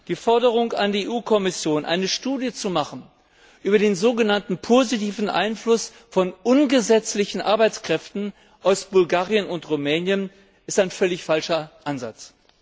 Die Forderung an die Kommission, eine Studie über den so genannten positiven Einfluss von ungesetzlichen Arbeitskräften aus Bulgarien und Rumänien zu machen, ist ein völlig falscher Ansatz.